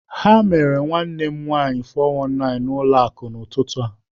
The mere nwanne m nwanyị 419 na ụlọ akụ n'ụtụtụ a.